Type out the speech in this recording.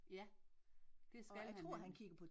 Ja det skal han nemlig